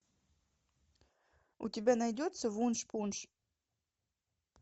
у тебя найдется вуншпунш